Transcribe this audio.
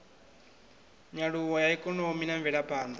nyaluwo ya ikonomi na mvelaphanḓa